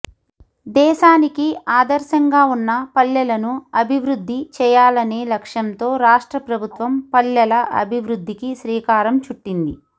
దేశానికి ఆదర్శంగా ఉన్న పల్లెలను అభివద్ధి చేయాలనే లక్ష్యంతో రాష్ట్ర ప్రభుత్వం పల్లెల అభివద్ధికి శ్రీకారం చుట్టింది